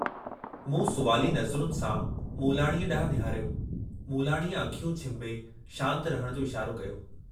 मूं सुवाली नज़रुनि सां मूलाणी डांहुं निहारियो, मूलाणीअ अखियूं छिंभे शांत रहण जो इशारो कयो।